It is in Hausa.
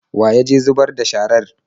Wa ya je zubar da sharar?